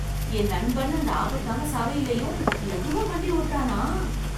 என் நண்பன் அந்த ஆபத்தான சாலையிலயும் லகுவா வண்டி ஓட்டறானா?